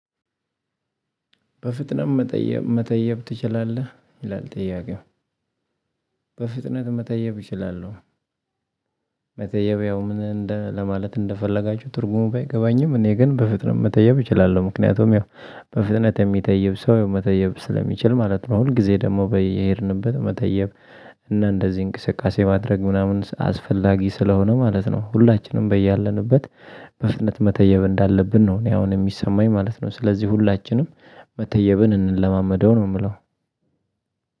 በፍጥነት መጠየብ መተየብ ትችላለህ ይላል ጥያቄው በፍጥነት መተየብ እችላለሁ። መተየቢያው ምን እንደ ለማለት እንደፈለጋችሁ ትርጉሙ አይገባኝም። እኔ ግን በፍጥነት መተየብ እችላለሁ ምክንያቱም ያው በፍጥነት የሚተይብ ሰው መተየብ ስለሚችል ማለት ነው። ሁል ጊዜ ደግሞ በየሄድንበት መጠየብ እና እንደዚህ እንቅስቃሴ ማድረግ ምናምን አስፈላጊ ስለሆነ ማለት ነው። ሁላችንም በያለንበት በፍጥነት መተየብ እንዳለብን ነው። እኔ አሁን የሚሰማኝ ማለት ነው። ስለዚህ ሁላችንም መተየብን እንለማመደው ነው። የምለው